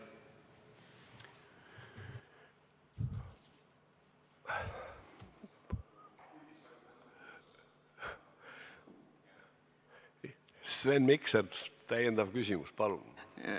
Sven Mikser, täiendav küsimus, palun!